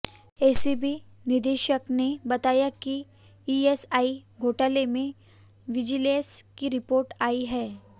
ACB निदेशक ने बताया कि ईएसआई घोटाले में विजिलेंस की रिपोर्ट आई है